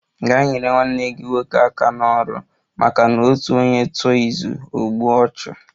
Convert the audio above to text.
Gaa nyere nwanne aka n'ọrụ! maka na otu onye tụọ izu, o gbue ọchụ